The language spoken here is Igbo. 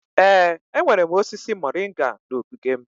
Ee, enwere m osisi moringa na ogige m.